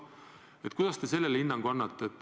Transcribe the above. Mis hinnangu te sellele annate?